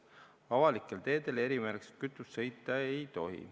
Avalikel teedel erimärgistusega kütust kasutades sõita ei tohi.